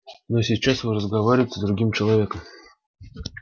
но сейчас вы разговариваете с другим человеком